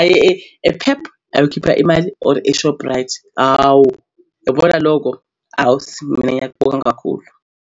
aye e-Pep ayokhipha imali or e-Shoprite. Hhawu yabona lokho awu sisi mina ngiyakubonga kakhulu.